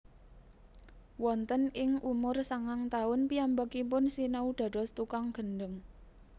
Wonten ing umur sangang taun piyambakipun sinau dados tukang gendheng